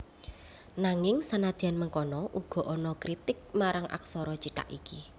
Nanging senadyan mengkono uga ana kritik marang aksara cithak iki